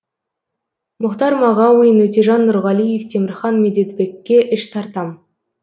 мұхтар мағауин өтежан нұрғалиев темірхан медетбекке іш тартам